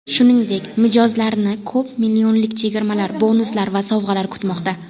Shuningdek, mijozlarni ko‘p millionlik chegirmalar, bonuslar va sovg‘alar kutmoqda.